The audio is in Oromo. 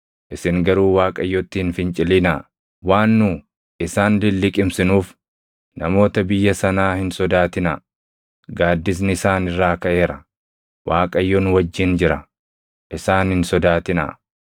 Isin garuu Waaqayyotti hin fincilinaa. Waan nu isaan lilliqimsinuuf namoota biyya sanaa hin sodaatinaa. Gaaddisni isaan irraa kaʼeera; Waaqayyo nu wajjin jira. Isaan hin sodaatinaa.”